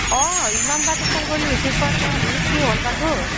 অ ইমানবাৰ তোক phone কৰিলোঁ receive কৰা নাই মই ভাবিলো কি হল বা তোৰ